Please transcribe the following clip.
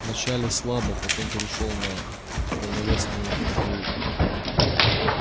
вначале слабо потом перешёл на полновесные оплеухи